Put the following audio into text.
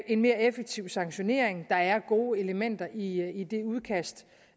en mere effektiv sanktionering der er gode elementer i det udkast